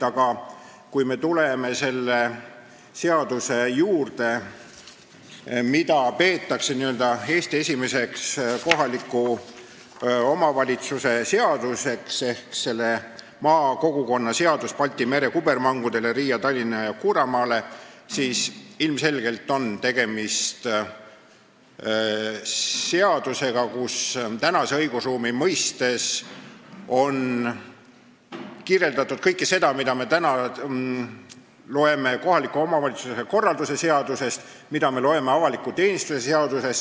Aga kui me tuleme selle seaduse juurde, mida peetakse Eesti esimeseks kohaliku omavalitsuse seaduseks – selle nimi on "Makoggukonna Seadus Baltia-merre kubbermangudele Ria-, Tallinna- ja Kura-male" –, siis tuleb öelda, et ilmselgelt on tegemist seadusega, kus tänase õigusruumi mõistes on kirjeldatud kõike seda, mida me nüüd loeme kohaliku omavalitsuse korralduse seadusest ja avaliku teenistuse seadusest.